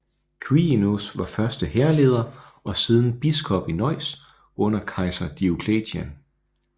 Quirinus var først hærleder og siden biskop i Neuss under kejser Diocletian